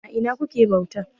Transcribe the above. A ina kuke bauta?